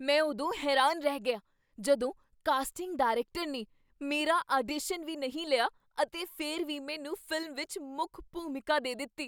ਮੈਂ ਉਦੋਂ ਹੈਰਾਨ ਰਹਿ ਗਿਆ ਜਦੋਂ ਕਾਸਟਿੰਗ ਡਾਇਰੈਕਟਰ ਨੇ ਮੇਰਾ ਆਡੀਸ਼ਨ ਵੀ ਨਹੀਂ ਲਿਆ ਅਤੇ ਫਿਰ ਵੀ ਮੈਨੂੰ ਫ਼ਿਲਮ ਵਿੱਚ ਮੁੱਖ ਭੂਮਿਕਾ ਦੇ ਦਿੱਤੀ।